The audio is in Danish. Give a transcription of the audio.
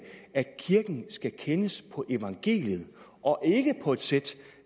at kirken skal kendes på evangeliet og ikke på et sæt